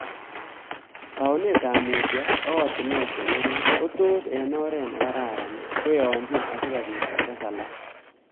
Taunet ap muutyo ak oratunwek cheng'ering' ko tos eg oret nekararan koyianchi asigobit kotes alak.